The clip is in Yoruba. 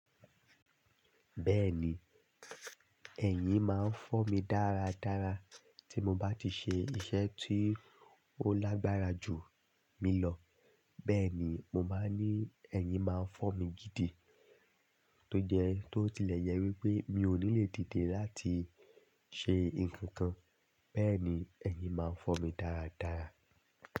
Bẹ́ẹ̀ni, ẹ̀yìn máa ń fọ́ mi dáadáa tí nbá ti ṣe iṣẹ́ tí ó lágbára jù mí lọ. Bẹ́ẹ̀ ni, mo máa ní ẹ̀yìn máa ń fọ́ mi gidi tó jẹ tó tilẹ̀ jẹ wípé mi ò ní lè dìde láti ṣe ǹkan kan, bẹ́ẹ̀ni ẹ̀yìn máa ń fọ́ mi dáradára.